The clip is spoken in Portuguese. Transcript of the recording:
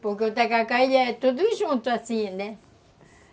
Porque o tacacá é tudo junto assim, né?